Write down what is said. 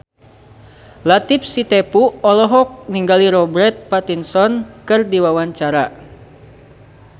Latief Sitepu olohok ningali Robert Pattinson keur diwawancara